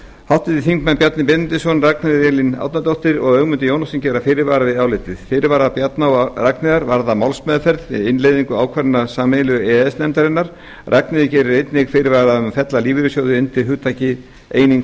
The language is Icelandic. háttvirtir þingmenn bjarni benediktsson ragnheiður e árnadóttir og ögmundur jónasson gera fyrirvara við álitið fyrirvarar bjarna og ragnheiðar varða málsmeðferð við innleiðingu ákvarðana sameiginlegu e e s nefndarinnar ragnheiður gerir einnig fyrirvara um að fella lífeyrissjóði undir hugtakið eining